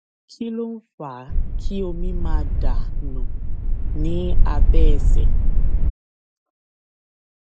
kí ló ń ń fa kí omi máa dà nù ní abẹ ẹsè